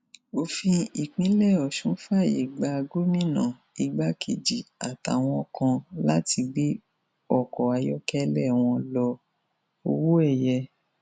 òfin ìpínlẹ ọṣún fàáyé gba gómìnà igbákejì àtàwọn kan láti gbé ọkọ ayọkẹlẹ wọn lọ owóẹyẹ